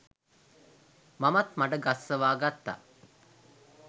මමත් මඩ ගස්සවා ගත්තා.